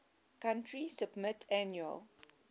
country submit annual